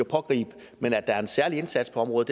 pågribe dem men der er en særlig indsats på området